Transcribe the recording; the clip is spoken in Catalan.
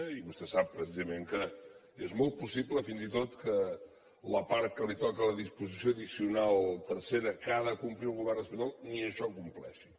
i vostè sap precisament que és molt possible fins i tot que la part que toca de la disposició addicional tercera que ha de complir el govern espanyol ni això compleixi